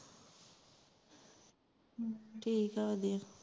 ਠੀਕ ਆ ਵਧੀਆ